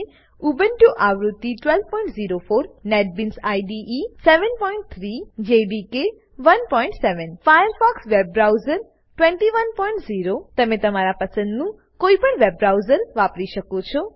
Ubuntu આવૃત્તિ 1204 NetBeans IDE 73 JDK 17 Firefox web browser 210 તમે તમારા પસંદનું કોઈપણ વેબ બ્રાઉઝર વાપરી શકો છો